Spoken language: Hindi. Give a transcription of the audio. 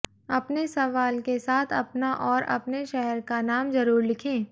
अपने सवाल के साथ अपना और अपने शहर का नाम ज़रूर लिखें